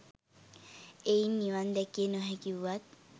එයින් නිවන් දැකිය නොහැකි වුවත්